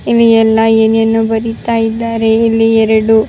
ಇಲ್ಲಿ ಒಂದು ಶಾಲೆ ಇದೆ ಇಲ್ಲಿ ಶಾಲೆ ಯಲ್ಲಿ ಎಲ್ಲ ಮಕ್ಕಳು ಕೆಳಗಡೆ ಕೂತಿದ್ದಾರೆ.